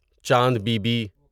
چاند بی بی